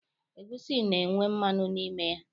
Egwusi na-enwe mmanụ n'ime ya.